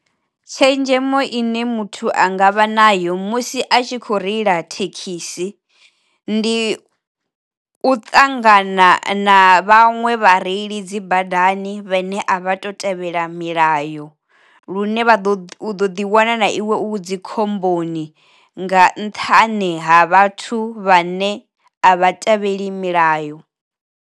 Tshenzhemo ine muthu a nga vha nayo musi a tshi kho reila thekhisi, ndi u ṱangana na vhaṅwe vhareili dzi badani vhe ne a vha to tevhela milayo lune vha ḓo ḓi wana na iwe u dzi khomboni nga nṱhani ha vhathu vha ne a vha tevheli milayo.